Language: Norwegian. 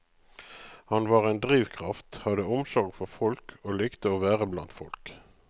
Han var en drivkraft, hadde omsorg for folk og likte å være blant folk.